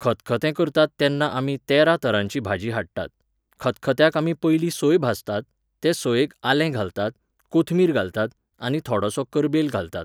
खतखतें करतात तेन्ना आमी तेरातरांची भाजी हाडटात. खतखत्याक आमी पयलीं सोय भाजतात, ते सोयेक आले घालतात, कोथमीर घालतात आनी थोडोसो करबेल घालतात.